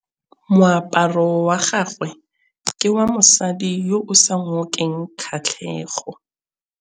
Moaparô wa gagwe ke wa mosadi yo o sa ngôkeng kgatlhegô.